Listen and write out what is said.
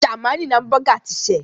Jamaní ni hámúbọgà ti ṣẹ̀.